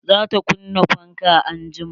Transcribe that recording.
Za ta kunna fankan anjima.